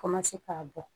k'a bɔ